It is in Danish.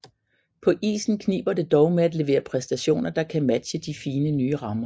På isen kniber det dog med at levere præstationer der kan matche de fine nye rammer